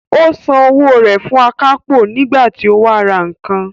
Ó san owó rẹ̀ fún akápò nígbà tí ó wá ra nǹkan